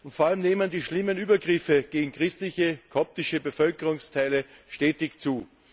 Vor allem nehmen die schlimmen Übergriffe gegen christliche koptische Bevölkerungsteile stetig zu.